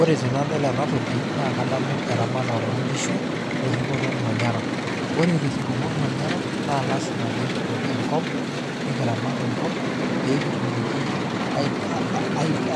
Ore tenadol enatoki naakadamu eramatare oonkishu oeripoto olmanyara. Ore. Terripoto olmanyara naa lasima peekidol enkop nikiramat enkop peekitumoki